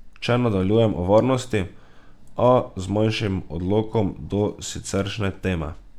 Če nadaljujem o varnosti, a z manjšim odklonom od siceršnje teme.